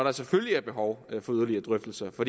er selvfølgelig behov for yderligere drøftelser for